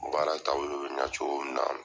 baara taabolo bɛ ɲa cogo min na.